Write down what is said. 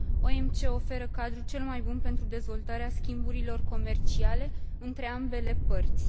OMC oferă cadrul cel mai bun pentru dezvoltarea schimburilor comerciale între ambele părți.